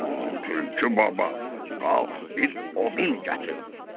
Tülkü baba, qalx bir odun gətir.